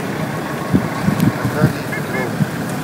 натальей петровной